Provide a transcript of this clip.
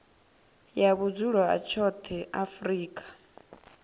ya vhudzulo ha tshoṱhe afrika